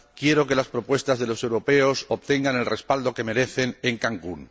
Quiero que las propuestas de los europeos obtengan el respaldo que merecen en Cancún.